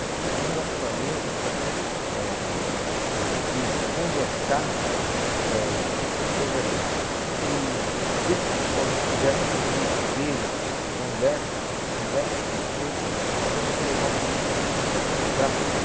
Essa coisa do relacionamento, eh de conversar, eh essa coisa do desse psicólogo que dá essa coisa do espelho, conversa, conversa com você, é uma coisa que eu levava muito para a FEBEM.